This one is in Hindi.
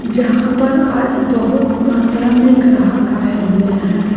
जहाँ पर आज बहुत मात्रा में ग्राहक आए हुए हैं।